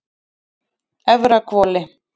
Efrahvoli